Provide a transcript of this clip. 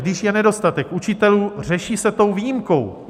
Když je nedostatek učitelů, řeší se tou výjimkou.